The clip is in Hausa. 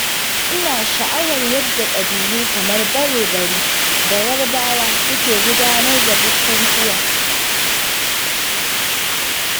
Ina sha'awar yadda ƙabilu kamar Bare-bari da Yarbawa suke gudanar da bukukuwa